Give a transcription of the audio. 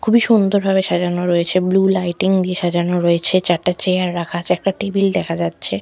খুবই সুন্দর ভাবে সাজানো রয়েছে বুলু লাইটিং দিয়ে সাজানো রয়েছে চারটে চেয়ার রাখা আছে একটা টেবিল দেখা যাচ্ছে।